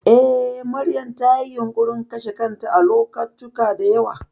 Eh, Maryam tayi yunƙurin kashe kanta a lokacuta da yawa.